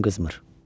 Ürəyim qızmır.